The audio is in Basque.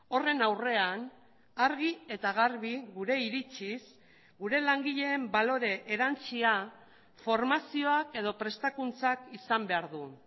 horren aurrean argi eta garbi gure iritziz gure langileen balore erantsia formazioak edo prestakuntzak izan behar du